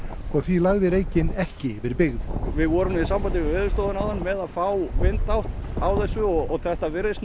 og því lagði reykinn ekki yfir byggð við vorum í sambandi við Veðurstofuna áðan með að fá vindátt á þessu og þetta virðist